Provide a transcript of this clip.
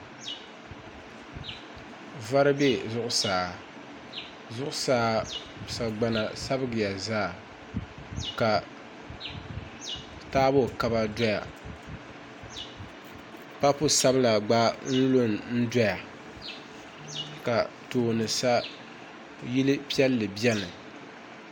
Vari bɛ zuɣusaa zuɣusaa sagbana sabigiya zaa ka taabo kaba doya papu sabila gba lu n doya ka tooni sa yili biɛni